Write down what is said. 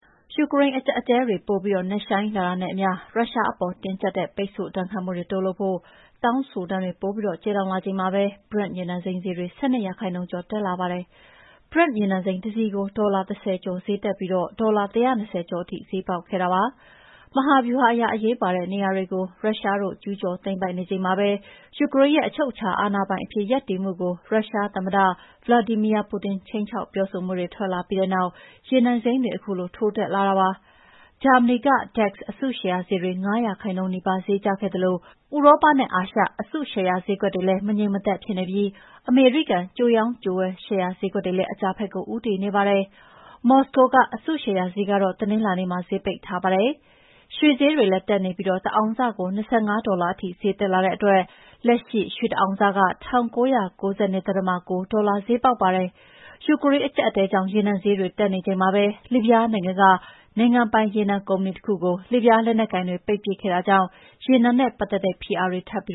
ယူကရိန်းအကြပ်အတည်းတွေ ပိုပြီးနက်ရှိုင်းလာတာနဲ့အမျှ ရုရှားအပေါ် တင်းကြပ် တဲ့ ပိတ်ဆို့ဒဏ်ခတ်မှုတိုးလုပ်ဖို့ တောင်းဆိုသံတွေ ပိုပြီးကျယ်လောင်လာချိန်မှာပဲ Brent ရေနံစိမ်းဈေးတွေ ၁၂ ရာခိုင်နှုန်းကျော် တက်လာပါတယ်။ Brent ရေနံစိမ်းတစည်ကို ဒေါ်လာ ၁၀ ကျော်ဈေးတက်ပြီး ဒေါ်လာ ၁၂၀ ကျော်ထိ ဈေးပေါက်ခဲ့ပါတယ်။ မဟာဗျူဟာအရ အရေးပါတဲ့နေရာတွေကို ရုရှားတို့ ကျူးကျော်သိမ်းပိုက်နေချိန်မှာပဲ ယူကရိန်းရဲ့ အချုပ်အခြာအာဏာပိုင်အဖြစ် ရပ်တည်မှုကို ရုရှားသမ္မတ ဗလာဒီမီယာပူတင် ခြိမ်းခြောက်ပြောဆိုမှုတွေ ထွက်လာပြီးတဲ့နောက် ရေနံဈေးတွေ ထိုးတက်လာတာပါ။ ဂျာမနီ DAX အစုရှယ်ယာဈေးတွေ ၅ ရာခိုင်နှုန်းနီးပါးဈေးကျခဲ့သလို ဥရောပနဲ့ အာရှ အစုရှယ်ယာဈေးကွက်တွေလည်း မငြိမ်မသက်ဖြစ်နေပြိး အမေရိကန် ကြိုရောင်း ကြိုဝယ်ရှယ်ယာဈေးတွေလည်း အကျဘက်ကိုဦးတည်နေတာပါ။ မော်စကို အစုရှယ်ယာဈေးကတော့ တနင်္လာနေ့မှာ ပိတ်ထားပါတယ်။ ရွှေဈေးတွေလည်းတက်နေပြီး တအောင်စကို ၂၅ ဒေါ်လာထိ ဈေးတက်လာတဲ့အတွက် လက်ရှိရွှေတအောင်စ ၁၉၉၂. ၉ ဒေါ်လာဈေးပေါက်ပါတယ်။ ယူကရိန်းအကြပ်အတည်းကြောင့် ရေနံဈေးတွေတက်နေချိန်မှာပဲ လစ်ဗျားနိုင်ငံက နိုင်ငံပိုင်ရေနံ ကုမ္ပဏီတခုကို လစ်ဗျားလက်နက်ကိုင်တွေပိတ်ပစ်ခဲ့တဲ့အတွက် ရေနံနဲ့ပတ်သက်တဲ့ ဖိအားတွေ ထပ်ပြီး